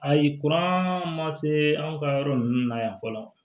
Ayi kuran ma se anw ka yɔrɔ ninnu na yan fɔlɔ